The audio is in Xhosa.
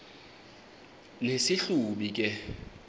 nesi hlubi kule